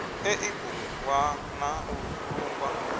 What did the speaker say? ḽeibu ḽwa na u vhulungwa